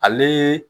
Ale